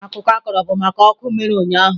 Akụkọ a kọrọ bụ maka ọkụ mere ụnyahụ.